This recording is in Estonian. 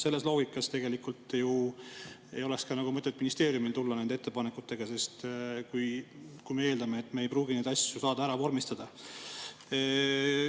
Selle loogika järgi tegelikult ju ei oleks ka mõtet ministeeriumil tulla nende ettepanekutega, kui me eeldame, et me ei pruugi neid asju saada ära vormistada.